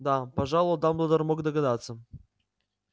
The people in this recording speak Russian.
да пожалуй дамблдор мог догадаться